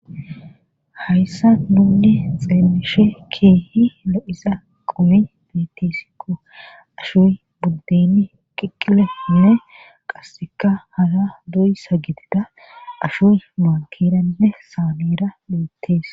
hayssa nuunni xeelishe keehi la7isa qumi bitisikko ashuy buddeni qiqqileinne qasseka hara doy sa gitida ashoy maankeranne saameera du7ettees